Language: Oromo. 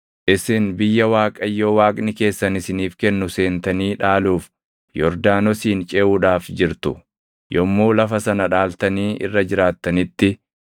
Isin biyya Waaqayyo Waaqni keessan isiniif kennu seentanii dhaaluuf Yordaanosin ceʼuudhaaf jirtu; yommuu lafa sana dhaaltanii irra jiraattanitti,